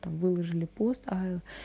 выложили пост аа